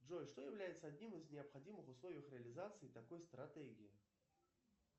джой что является одним из необходимых условий реализации такой стратегии